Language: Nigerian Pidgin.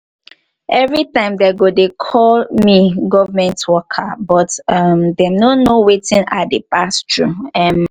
everytime dem go dey call me government worker but um dem no know wetin i dey pass through um